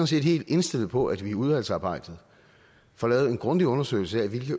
set helt indstillet på at vi i udvalgsarbejdet får lavet en grundig undersøgelse af hvilke